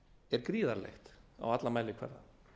er gríðarlegt á allan mælikvarða